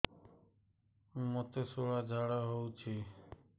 ମୋତେ ଶୂଳା ଝାଡ଼ା ହଉଚି